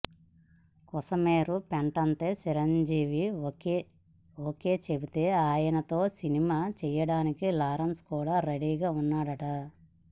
కొసమెరుపేంటంటే Chiranjeevi okay చెబితే ఆయనతో సినిమా చేయడానికి లారెన్స్ కూడా రెడీగా వున్నాడట